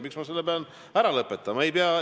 Miks ma pean selle ära lõpetama?